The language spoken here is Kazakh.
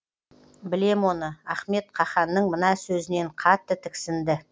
білем оны ахмет қаһанның мына сөзінен қатты тіксінді